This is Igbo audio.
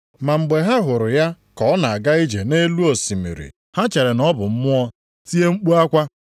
Ma mgbe ha hụrụ ya ka ọ na-aga ije nʼelu osimiri, ha chere na ọ bụ mmụọ, tie mkpu akwa.